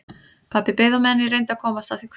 Pabbi beið á meðan ég reyndi að komast að því hvenær